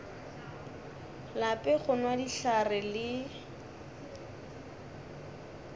lape go nwa dihlare le